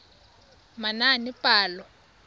manaanepalo